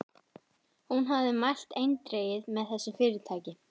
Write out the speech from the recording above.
Hún hafði mælt eindregið með þessu fyrirtæki.